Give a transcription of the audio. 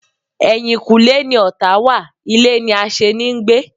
Eyinkule ni ọ̀tá wa, ilé ni aseni ń gbé